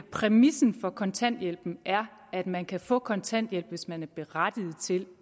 præmissen for kontanthjælpen er at man kan få kontanthjælp hvis man er berettiget til